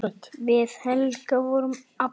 Við Helga vorum ABBA.